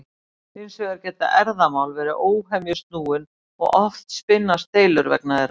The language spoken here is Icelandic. Hins vegar geta erfðamál verið óhemju snúin og oft spinnast deilur vegna þeirra.